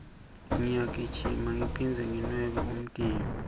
ngiyagijima ngiphindze nginwebe umtimba